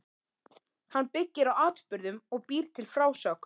Hann byggir á atburðum og býr til frásögn.